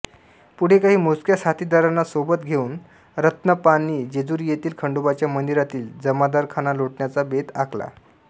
पुढे काही मोजक्या साथीदारांना सोबत घेऊन रत्नाप्पांनी जेजुरी येथील खंडोबाच्या मंदिरातील जामदारखाना लुटण्याचा बेत आखला